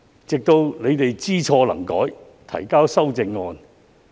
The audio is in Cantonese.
直到他們後來知錯能改，才肯提交修正案。